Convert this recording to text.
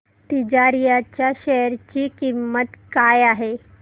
तिजारिया च्या शेअर ची किंमत काय आहे